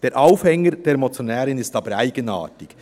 Der Aufhänger der Motionärin ist aber eigenartig.